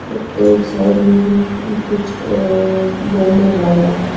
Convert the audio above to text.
ओ एक साइड में भी कुछ अ बैनर लगा है।